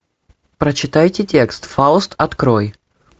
прочитайте текст фауст открой